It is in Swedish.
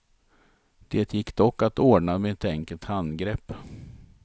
Det gick dock att ordna med ett enkelt handgrepp.